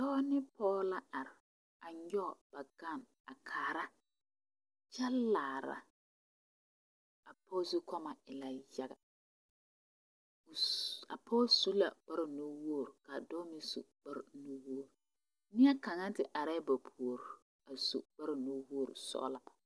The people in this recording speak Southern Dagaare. Doɔ ne poɔ la arẽ a nyuge ba gan a kaara kye laara a poɔ zukummo e la yaga a poɔ su la kpare nu wouri ka a doɔ meng su kpare nu wouri neɛ kanga te arẽ ba poure a su kpare nu wouri pelaa.